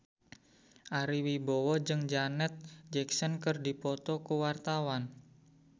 Ari Wibowo jeung Janet Jackson keur dipoto ku wartawan